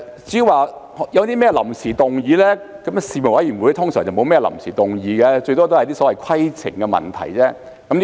至於臨時議案，事務委員會一般不會有臨時議案，最多只有一些規程問題。